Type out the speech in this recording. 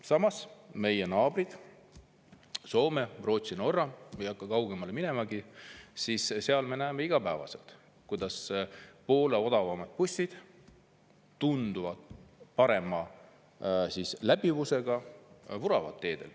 Samas, meie naabrite juures – Soomes, Rootsis, Norras, ei hakka kaugemale minemagi – me näeme iga päev, kuidas poole odavamad bussid, mis on tunduvalt parema läbivusega, teedel vuravad.